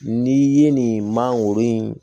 N'i ye nin mangoro in